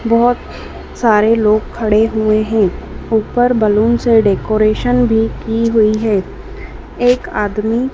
बहोत सारे लोग खड़े हुए हैं ऊपर बैलून से डेकोरेशन भी की हुई है एक आदमी--